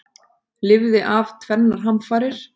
Lifði af tvennar hamfarir